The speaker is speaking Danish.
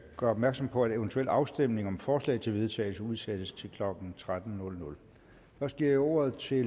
gøre opmærksom på at en eventuel afstemning om forslag til vedtagelse udsættes til klokken tretten først giver jeg ordet til